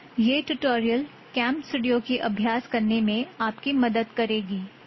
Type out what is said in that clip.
யெஹ் tutorial game studio கி அப்யாஸ் கர்னே மெய்ன் ஆப் கி மதாத் கரேகி